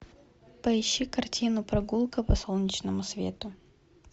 поищи картину прогулка по солнечному свету